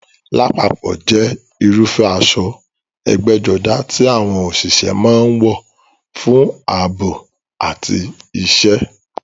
Lápapọ̀ jẹ́ irúfẹ́ aṣọ ẹgbẹ́jọdá tí àwọn òṣìṣẹ́ máa ń wọ̀ fún ààbò àti iṣẹ́.